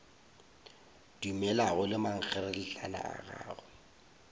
dumelago ge mankgeretlana a gagwe